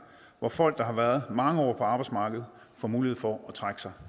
hvor folk der har været mange år på arbejdsmarkedet får mulighed for at trække sig